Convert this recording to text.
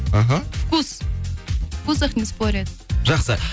аха вкус в вкусах не спорят жақсы